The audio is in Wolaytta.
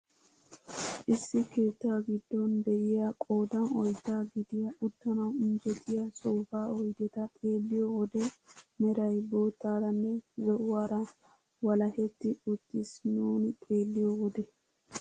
Issi keettaa giddon de'iyaa qoodan oyddaa gidiyaa uttanawu injettiyaa soofaa oydeta xeelliyoo wode meray boottaaranne zo'uwaara walahetti uttiis nuuni xeelliyoo wode.